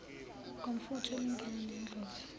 ngomfutho olingana nendlovu